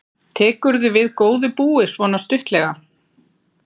Linda: Tekurðu við góðu búi, svona stuttlega?